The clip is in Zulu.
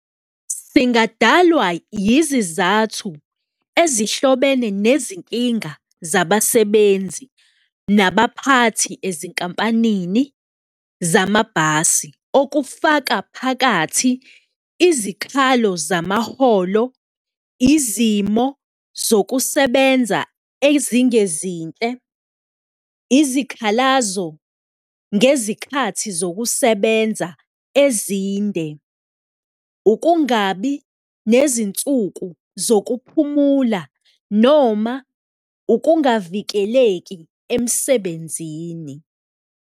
Singadalwa yizizathu ezihlobene nezinkinga zabasebenzi nabaphathi ezinkampanini zamabhasi, okufaka phakathi izikhalo zamaholo, izimo zokusebenza ezingezinhle, izikhalazo ngezikhathi zokusebenza ezinde, ukungabi nezinsuku zokuphumula noma ukungavikeleki emsebenzini.